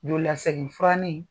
Joli lasegin furanin